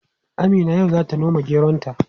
Amina yau zata noma geronta.